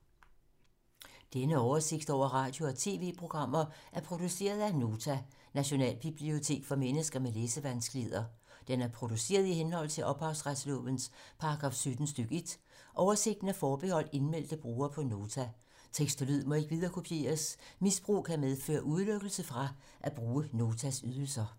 Denne oversigt over radio og TV-programmer er produceret af Nota, Nationalbibliotek for mennesker med læsevanskeligheder. Den er produceret i henhold til ophavsretslovens paragraf 17 stk. 1. Oversigten er forbeholdt indmeldte brugere på Nota. Tekst og lyd må ikke viderekopieres. Misbrug kan medføre udelukkelse fra at bruge Notas ydelser.